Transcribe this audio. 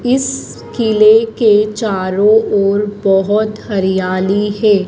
इस किले के चारों ओर बहोत हरियाली है।